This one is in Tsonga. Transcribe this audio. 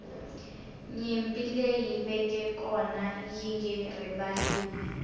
nyimpi leyi veke kona yinge rivaliwi